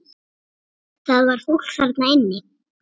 Það var fólk þarna inni!